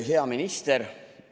Hea minister!